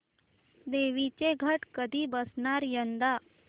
देवींचे घट कधी बसणार यंदा